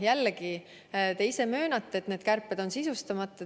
Jällegi, te ise möönate, et need kärped on sisustamata.